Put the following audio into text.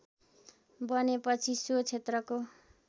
बनेपछि सो क्षेत्रको